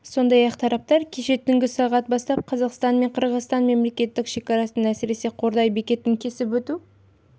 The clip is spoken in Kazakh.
сондай-ақ тараптар кеше түнгі сағат бастап қазақстан мен қырғызстанның мемлекеттік шекарасын әсіресе қордай бекетін кесіп өту